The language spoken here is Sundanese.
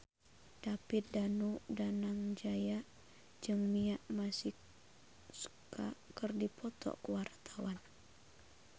David Danu Danangjaya jeung Mia Masikowska keur dipoto ku wartawan